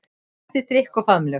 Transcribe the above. Eftir drykk og faðmlög.